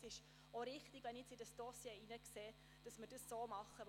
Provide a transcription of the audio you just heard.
Jetzt habe ich Einsicht in das Dossier und glaube, dass es richtig ist, es so zu tun.